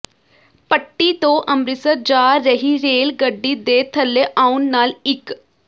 ਪੱਟੀ ਤੋ ਅੰਮ੍ਰਿਤਸਰ ਜਾ ਰਹੀ ਰੇਲਗੱਡੀ ਦੇ ਥੱਲੇ ਆਉਣ ਨਾਲ ਇਕ